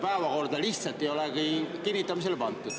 Päevakorda lihtsalt ei olegi kinnitamisele pandud.